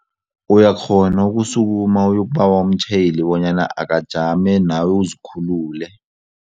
Uyakghona ukusukuma uyokubawa umtjhayeli bonyana akajame nawe uzikhulule.